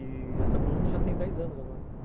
E essa coluna já tem dez anos agora.